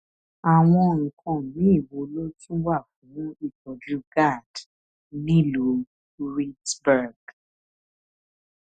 àwọn nǹkan míì wo ló tún wà fún ìtójú gad nílùú reedsburg